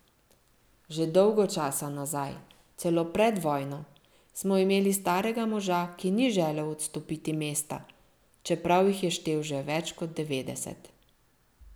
Že dolgo časa nazaj, celo pred vojno, smo imeli starega moža, ki ni želel odstopiti mesta, čeprav jih je štel že več kot devetdeset.